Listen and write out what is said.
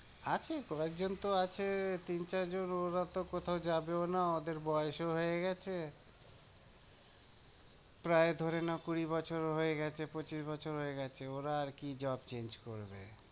আছে কয়েকজন তো আছে তিন চারজন ওরা তো কোথাও যাবেও না, ওদের বয়সও হয়ে গেছে প্রায় ধরে নাও কুড়ি বছর হয়ে গেছে, পঁচিশ বছর হয়ে গেছে ওরা আর কি job change করবে?